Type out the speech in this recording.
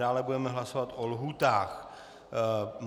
Dále budeme hlasovat o lhůtách.